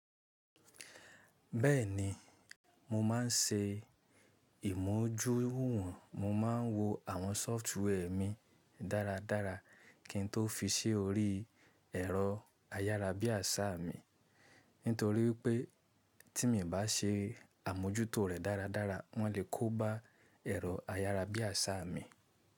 Bẹ́ẹ̀ni, mo máa ń ṣe ìmójúwùwò, mo máa ń wo àwọn sọfitwe mi dára dára kí n tó fi sí orí ẹ̀rọ ayárabíàṣá mi nítorí pé tí mi bá ṣe àmójútó rẹ̀ dáradára wọn lè kóba ẹ̀rọ ayárabíàṣá mi.